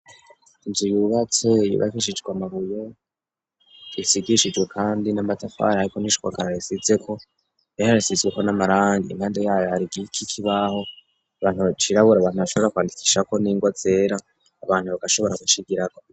Njirwe uwubateyibakishijwe amabuye risigishijwe, kandi n'amatafar aheko nishwakararisizeko eharisizweko n'amaranga inkande yayo hari igi iki kibaho abantu bacirabura bantu bashobora kwandikishako n'ingwa zera abantu bagashobora gucigiraro.